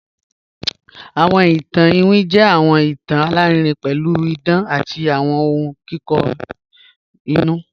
Awọn ìtàn ìwín jẹ́ awọn ìtàn alárìírìn pẹ̀lú ìdán àti awọn ọ̀hun kikọ inú